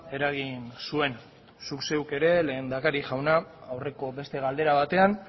eragin zuen zuk zeuk ere lehendakari jauna aurreko beste galdera batean